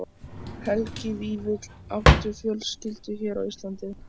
Helgi Vífill: Áttu fjölskyldu hér á Íslandi?